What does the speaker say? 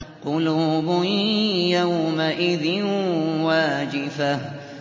قُلُوبٌ يَوْمَئِذٍ وَاجِفَةٌ